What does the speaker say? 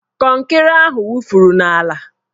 Kọnkịrị ahụ wufuru n'ala